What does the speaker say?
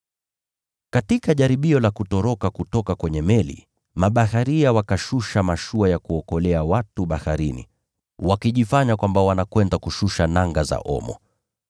Katika jaribio la kutoroka kutoka kwenye meli, mabaharia wakashusha mashua ya kuokolea watu baharini, wakijifanya kwamba wanakwenda kushusha nanga za omo.